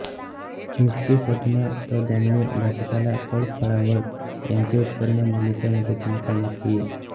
मुक्तिसदना त धान्य भाजीपाला फळफळावळ यांचे उत्पन्न मुलींच्या मदतीने काढण्यात येई